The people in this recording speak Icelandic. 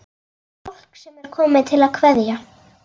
Fólk sem er komið til að kveðja.